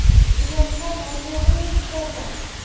Uyoqqa noto‘g‘ri yetib borgan.